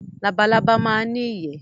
Labalábá máa ń ní ìyẹ́.